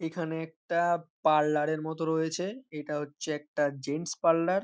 এখানে একটা পার্লার এর মতো রয়েছে এটা হচ্ছে একটা জেন্টস পার্লার ।